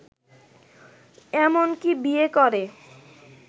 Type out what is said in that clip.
এমনকি বিয়ে করে